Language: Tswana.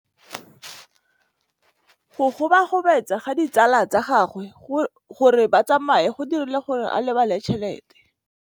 Go gobagobetsa ga ditsala tsa gagwe, gore ba tsamaye go dirile gore a lebale tšhelete.